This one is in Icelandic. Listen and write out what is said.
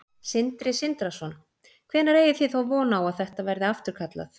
Sindri Sindrason: Hvenær eigið þið þá von á að þetta verði afturkallað?